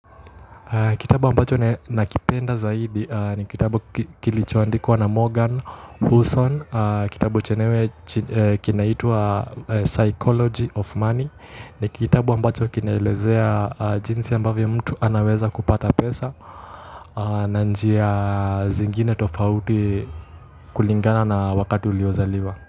Kitabu ambacho nakipenda zaidi ni kitabu kilichoandikwa na Morgan Housel, kitabu chenyewe kinaitwa Psychology of Money, ni kitabu ambacho kinaeleza jinsi ambavyo mtu anaweza kupata pesa na njia zingine tofauti kulingana na wakati uliozaliwa.